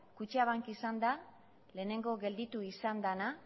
kutxabank izan da lehenengo gelditu izan dena